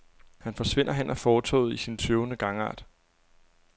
Han forsvinder hen ad fortovet i sin tøvende gangart.